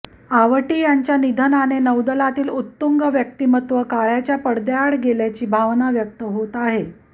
आवटी यांच्या निधनाने नौदलातील उत्तुंग व्यक्तिमत्व काळाच्या पडद्याआड गेल्याची भावना व्यक्त होत आहे